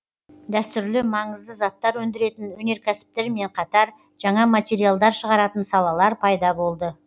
дәстүрлі маңызды заттар өндіретін өнеркәсіптермен қатар жаңа материалдар шығаратын салалар пайда болды